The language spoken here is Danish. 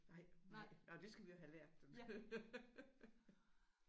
Nej nej nej det skal vi jo have lært den